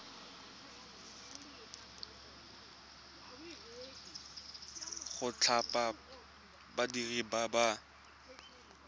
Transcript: go thapa badiri ba ba